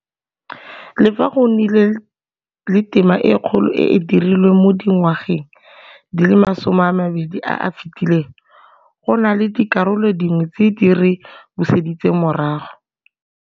Le fa go nnile le tema e kgolo e e dirilweng mo dingwageng di le masomeamabedi a a fetileng, go na le dikarolo dingwe tse di re buseditseng morago.